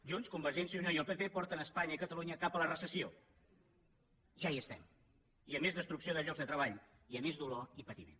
junts convergència i unió i el pp porten espanya i catalunya cap a la recessió ja hi estem i a més destrucció de llocs de treball i a més dolor i patiment